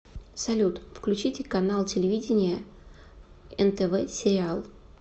салют включите канал телевидения нтв сериал